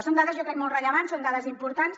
són dades jo crec molt rellevants són dades importants